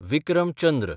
Vikram Chandra